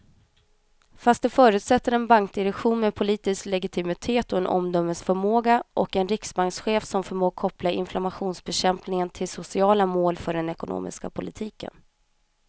Fast det förutsätter en bankdirektion med politisk legitimitet och omdömesförmåga och en riksbankschef som förmår koppla inflationsbekämpning till sociala mål för den ekonomiska politiken.